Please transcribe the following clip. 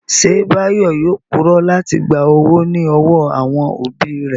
Ṣé Báyọ̀ yóò purọ́ láti gba owó ní ọwọ́ àwọn òbí rẹ̀?